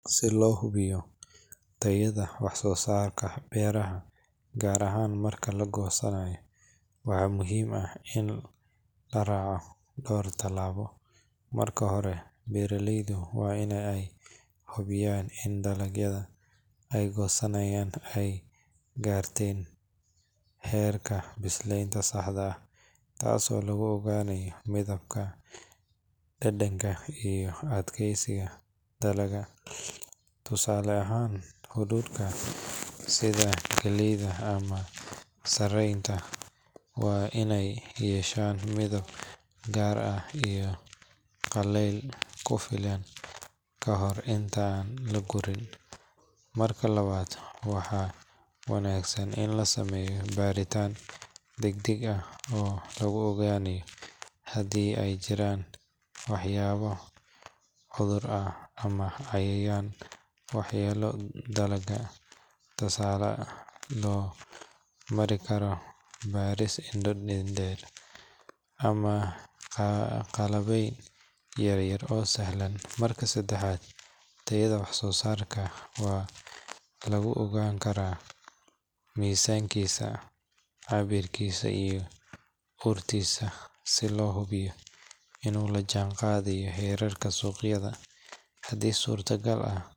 Si loo hubiyo tayada wax-soosaarka beeraha, gaar ahaan marka la goosanayo, waxaa muhiim ah in la raaco dhowr talaabo. Marka hore, beeraleydu waa in ay hubiyaan in dalagyada ay goosanayaan ay gaarteen heerka biseylka saxda ah, taasoo lagu ogaanayo midabka, dhadhanka, iyo adkaysiga dalagga. Tusaale ahaan, hadhuudhka sida galleyda ama sarreenka waa in uu yeesho midab gaar ah iyo qallayl ku filan ka hor inta aan la gurin. Marka labaad, waxaa wanaagsan in la sameeyo baaritaan degdeg ah oo lagu ogaanayo haddii ay jiraan waxyaabo cudur ah ama cayayaan waxyeelleeyay dalagga, taasoo loo mari karo baaris indho-indheyn ah ama qalabyo yar yar oo sahlan. Marka saddexaad, tayada wax-soosaarka waxaa lagu ogaan karaa miisaankiisa, cabirkiisa iyo urtiisa si loo hubiyo inuu la jaanqaadayo heerarka suuqyada. Haddii suurtagal ah.